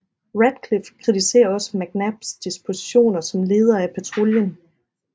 Radcliffe kritiserer også McNabs dispositioner som leder af patruljen